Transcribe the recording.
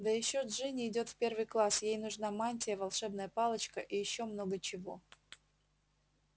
да ещё джинни идёт в первый класс ей нужна мантия волшебная палочка и ещё много чего